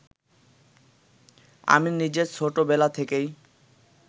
আমি নিজে ছোট বেলা থেকেই